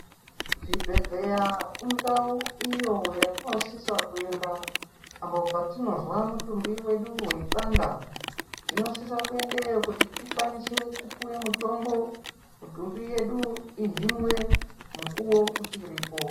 Zvibhedhlera indau iyo yatinosisa kuenda apo patinozwa mutumbi wedu weipanda tinosisa kuendayo kuti tikwanise kupuwe mutombo mutumbi wedu uhinwe nguwa ichiripo.